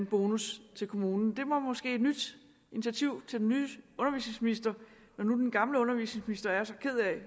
bonus til kommunen det var måske et nyt initiativ til den nye undervisningsminister når nu den gamle undervisningsminister er så ked af